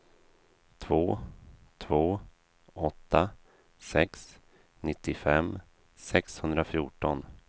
två två åtta sex nittiofem sexhundrafjorton